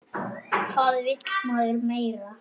Hvað vill maður meira?